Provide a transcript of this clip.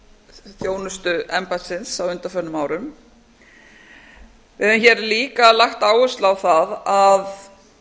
þjónustu embættisins á undanförnum árum við höfum hér líka lagt áherslu á það að